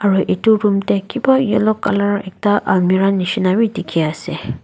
Aro etu room dae kiba yellow colour ekta almirah neshina bhi dekhi ase.